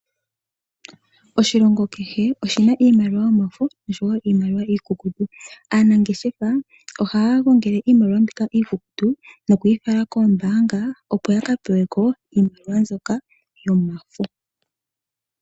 Oshilongo kehe oshina iimaliwa yomafo nosho woo iimaliwa iikukutu. Aanangeshefa ohaya gongele iimaliwa mbika iikukutu opo ya ka pewe ko iimaliwa mbyoka yomafo.